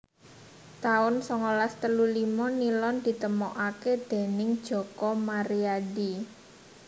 taun songolas telu limo Nilon ditemokaké déning Joko Maryadi